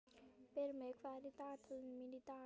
Brimi, hvað er í dagatalinu í dag?